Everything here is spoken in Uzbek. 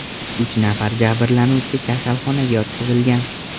Uch nafar jabrlanuvchi kasalxonaga yotqizilgan.